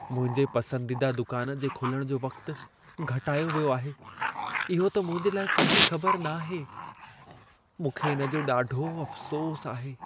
मुंहिंजे पसंदीदा दुकान जे खुलण जो वक़्तु घटायो वियो आहे, इहो त मुंहिंजे लाइ सुठी ख़बर नाहे। मूंखे इन जो ॾाढो अफ़सोसु आहे।